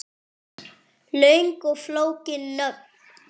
Löng og flókin nöfn